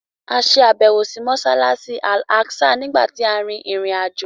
A ṣàbẹ̀wò sí Mọ́ṣáláṣí Al Aqsa nígbà tí a rin ìrìn-àjò